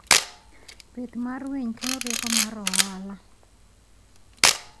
Pith mar winy kelo rieko mar ohala.